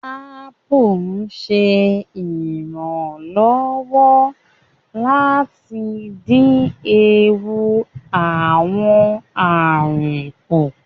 Apu ṣe iranlọwọ lati din eewu awọn arun ku